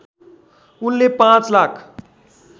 उनले पाँच लाख